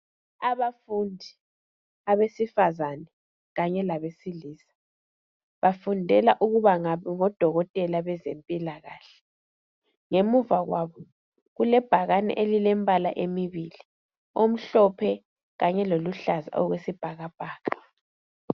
abafundi abesifazana kanye labesilisa bafundela ukuthi babengodokotela bezempilakahle ngemuva kwabo kulebhakane elilembla emibili omhlophe kanye loluhlaza okwesibhakabhaka